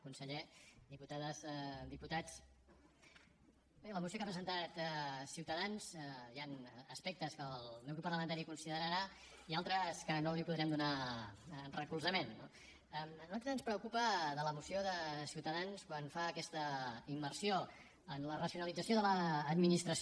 conseller diputades diputats bé a la moció que ha presentat ciutadans hi han aspectes que el meu grup parlamentari considerarà i altres a què no els podrem donar recolzament no a nosaltres ens preocupa de la moció de ciutadans quan fa aquesta immersió en la racionalització de l’administració